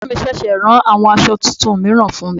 Ẹ̀gbọ́n mi ṣẹ̀ṣẹ̀ rán àwọn aṣọ tuntun mìíràn fún mi.